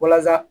Walasa